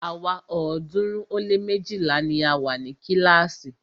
Àwa ọ̀ọ́dúnrún ó lé méjìlá ni a wa ni kílàásì.